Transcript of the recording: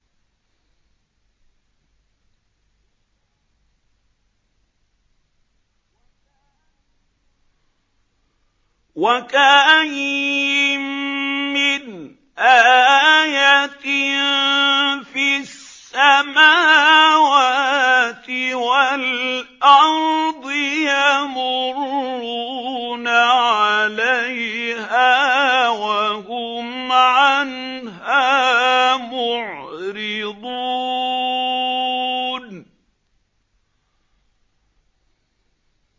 وَكَأَيِّن مِّنْ آيَةٍ فِي السَّمَاوَاتِ وَالْأَرْضِ يَمُرُّونَ عَلَيْهَا وَهُمْ عَنْهَا مُعْرِضُونَ